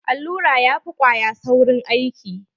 Allura ya fi kwaya saurin aiki.